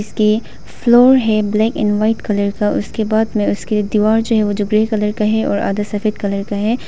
इसके फ्लोर है black and white colour का उसके बाद में उसके दीवार जो है ओ जो ग्रे कलर का है और आधा सफेद कलर का है।